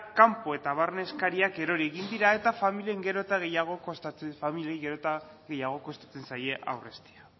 kanpo eta barne eskariak erori egin dira eta familiei gero eta gehiago kostatzen zaie aurreztea